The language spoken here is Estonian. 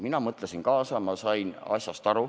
Mina mõtlesin kaasa, ma sain asjast aru.